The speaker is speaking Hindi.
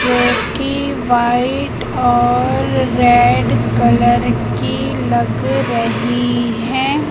जो कि व्हाइट और रेड कलर की लग रही है।